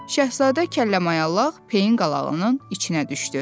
Şahzadə kəlləmayallaq peyin qalağının içinə düşdü.